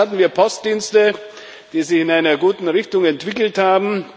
Damals hatten wir Postdienste, die sich in einer guten Richtung entwickelt haben.